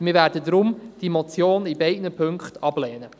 Deshalb werden wir diese Motion in beiden Punkten ablehnen.